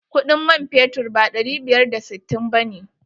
Kuɗin man fetur ba ɗari biyar da sittin ba ne.